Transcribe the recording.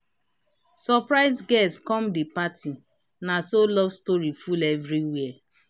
surprise guest come the party na so love story full everywhere.